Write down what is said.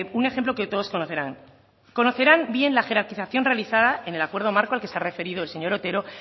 un ejemplo que todos conocerán conocerán bien la jerarquización realizada en el acuerdo marco al que se ha referido el señor otero